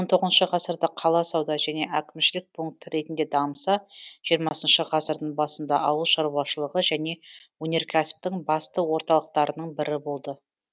он тоғызыншы ғасырда қала сауда және әкімшілік пункт ретінде дамыса жиырмасыншы ғасырдың басында ауыл шаруашылығы және өнеркәсіптің басты орталықтарының бірі болды